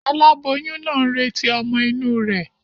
Aláboyún naa n retí ọ́mọ́ inú rè